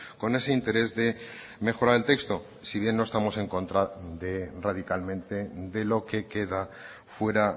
con ese interés de mejorar el texto si bien no estamos en contra de radicalmente de lo que queda fuera